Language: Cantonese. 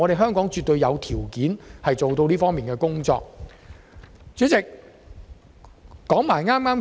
香港絕對有條件做到再工業化。